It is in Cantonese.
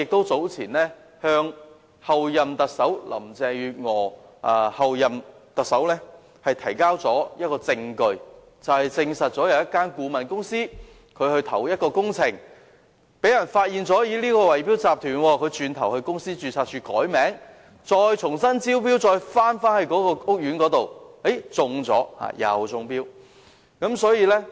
早前，我曾向候任特首林鄭月娥提交證據，證實一間顧問公司在投標工程時被人發現是圍標集團，其後它到公司註冊處改名，然後再回頭就該屋苑的工程重新參與投標，最後更中標了。